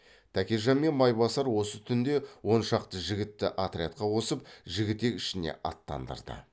тәкежан мен майбасар осы түнде он шақты жігітті отрядқа қосып жігітек ішіне аттандырды